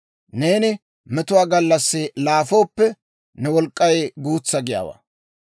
Neeni metuwaa gallassi laafooppe, ne wolk'k'ay guutsa giyaawaa.